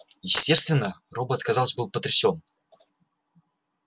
естественно робот казалось был потрясён